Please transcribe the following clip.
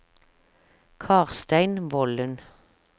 Karstein Volden